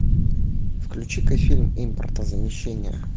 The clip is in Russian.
включи ка фильм импортозамещение